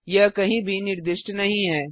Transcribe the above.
यह कहीं भी निर्दिष्ट नहीं है